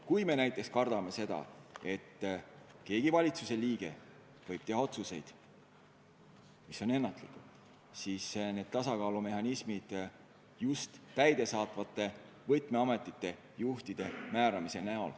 Kui me näiteks kardame seda, et mõni valitsuse liige võib teha otsuseid, mis on ennatlikud, siis ehk aitavad need tasakaalumehhanismid, et Riigikogu määrab täidesaatvate võtmeametite juhid.